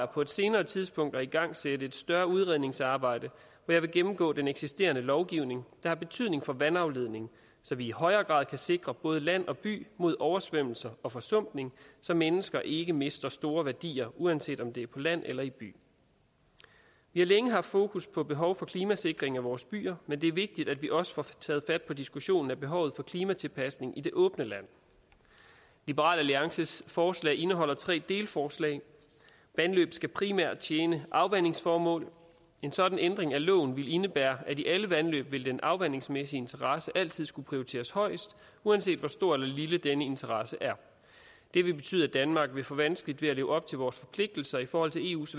på et senere tidspunkt overvejer at igangsætte et større udredningsarbejde hvor jeg vil gennemgå den eksisterende lovgivning der har betydning for vandafledning så vi i højere grad kan sikre både land og by mod oversvømmelser og forsumpning så mennesker ikke mister store værdier uanset om det er på land eller i by vi har længe haft fokus på behovet for klimasikring af vores byer men det er vigtigt at vi også får taget fat på diskussionen af behovet for klimatilpasning i det åbne land liberal alliances forslag indeholder tre delforslag vandløb skal primært tjene afvandingsformål en sådan ændring af loven ville indebære at i alle vandløb ville den afvandingsmæssige interesse altid skulle prioriteres højest uanset hvor stor eller lille denne interesse er det vil betyde at danmark vil få vanskeligt ved at leve op til vores forpligtelser i forhold til eus